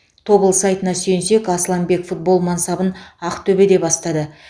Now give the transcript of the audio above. тобыл сайтына сүйенсек асланбек футбол мансабын ақтөбеде бастады